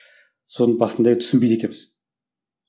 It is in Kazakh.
соны басында түсінбейді екенбіз